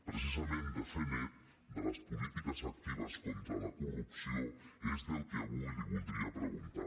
precisament de fer net de les polítiques actives contra la corrupció és del que avui li voldria preguntar